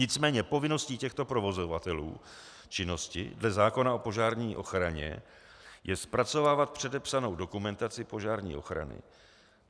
Nicméně povinností těchto provozovatelů činnosti dle zákona o požární ochraně je zpracovávat předepsanou dokumentaci požární ochrany.